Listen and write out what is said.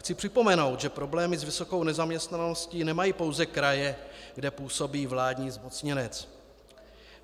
Chci připomenout, že problémy s vysokou nezaměstnaností nemají pouze kraje, kde působí vládní zmocněnec.